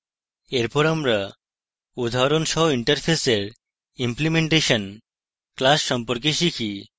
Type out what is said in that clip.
এরপর আমরা উদাহরণ সহ interface implementation class সম্পর্কে শিখি